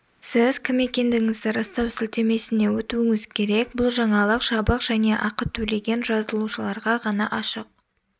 сіз кім екендігіңізді растау сілтемесіне өтуіңіз керек бұл жаңалық жабық және ақы төлеген жазылушыларға ғана ашық